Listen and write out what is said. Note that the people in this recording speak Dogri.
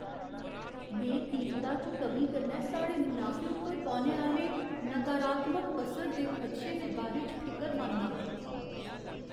में कीमता च कमी कन्नै साढ़े मुनाफे उप्पर पौने आह्‌ले नकारात्मक असर दे खदशे दे बारे च फिकरमंद आं।